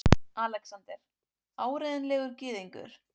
ALEXANDER: Áreiðanlega gyðingur!